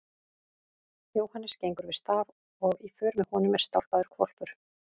Jóhannes gengur við staf og í för með honum er stálpaður hvolpur.